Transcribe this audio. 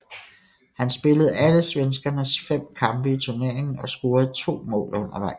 Han spillede alle svenskernes fem kampe i turneringen og scorede to mål undervejs